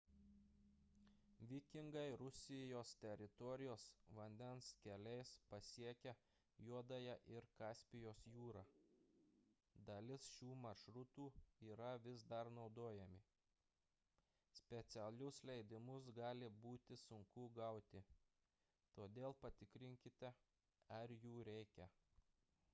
vikingai rusijos teritorijos vandens keliais pasiekė juodąją ir kaspijos jūrą dalis šių maršrutų yra vis dar naudojami specialius leidimus gali būti sunku gauti todėl patikrinkite ar jų reikia